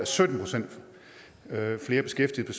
sytten procent flere beskæftigede